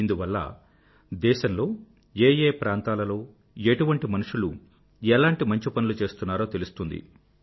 ఇందువల్ల దేశంలో ఏ ఏ ప్రాంతంలలో ఏటువంటి మనుషులు ఎలాంటి మంచి పనులు చేస్తున్నారో తెలుస్తుంది